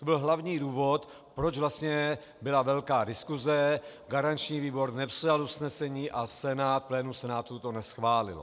To byl hlavní důvod, proč vlastně byla velká diskuse, garanční výbor nepřijal usnesení a Senát, plénum Senátu to neschválilo.